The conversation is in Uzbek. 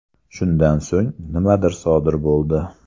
Shundan so‘ng nimadir sodir bo‘ldi.